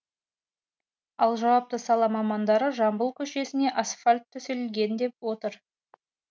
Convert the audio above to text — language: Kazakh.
ал жауапты сала мамандары жамбыл көшесіне асфальт төселген деп отыр